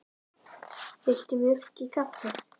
Viltu mjólk í kaffið?